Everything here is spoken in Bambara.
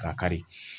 K'a kari